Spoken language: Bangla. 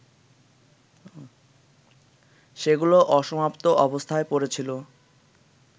সেগুলো অসমাপ্ত অবস্থায় পড়েছিল